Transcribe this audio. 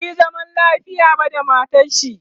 basuyi zaman lafiya ba da matarshi